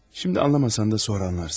Şimdi anlamasan da sonra anlarsın.